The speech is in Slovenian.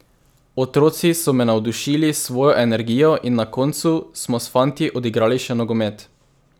Otroci so me navdušili s svojo energijo in na koncu smo s fanti odigrali še nogomet.